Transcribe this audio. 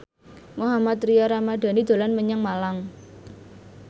Mohammad Tria Ramadhani dolan menyang Malang